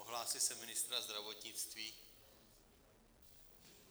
Ohlásil jsem ministra zdravotnictví.